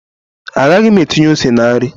Agaghị m etinye ose na nri